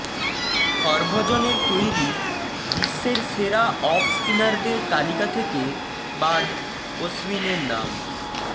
হরভজনের তৈরি বিশ্বের সেরা অফ স্পিনারদের তালিকা থেকে বাদ অশ্বিনের নাম